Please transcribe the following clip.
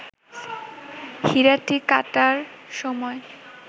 হীরাটি কাটার সময়